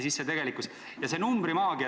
See numbrimaagia ...